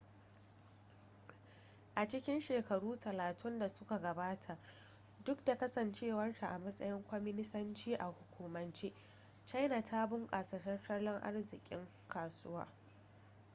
a cikin shekaru talatin da suka gabata duk da kasancewarta a matsayin kwaminisanci a hukumance china ta bunkasa tattalin arzikin kasuwa